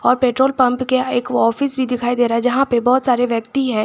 Petrol pump के एक office भी दिखाई दे रहा है जहां पे बहुत सारे व्यक्ति है।